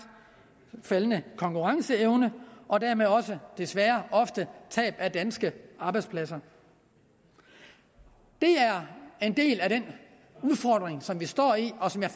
faldende konkurrenceevne og dermed også desværre ofte tab af danske arbejdspladser det er en del af den udfordring som vi står i og som jeg